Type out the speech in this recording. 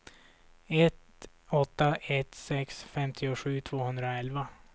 ett åtta ett sex femtiosju tvåhundraelva